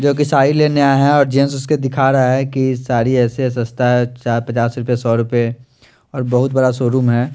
जो की साडी लेने आया है और जेन्ट्स उसके दिखा रहा है कि साडी ऐसे हैं सस्ता है जहां पचास रुपये सौ रुपये और बहुत बड़ा शोरूम है ।